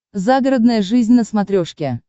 загородная жизнь на смотрешке